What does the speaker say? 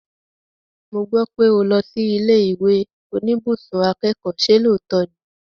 Mo gbọ́ pé o lọ sí ilé ìwé oníbùsùn akẹ́kọ̀ọ́, ṣe lóòótọ́ ni?